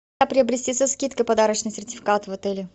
как приобрести со скидкой подарочный сертификат в отеле